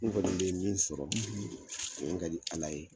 Ne kɔni bɛ min sɔrɔ tiɲɛn ka di Ala ye.